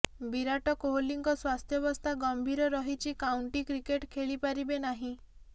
ବିରାଟ କୋହଲିଙ୍କ ସ୍ୱାସ୍ଥ୍ୟାବସ୍ଥା ଗମ୍ଭୀର ରହିଛି କାଉଣ୍ଟି କ୍ରିକେଟ ଖେଳି ପାରିବେ ନାହିଁ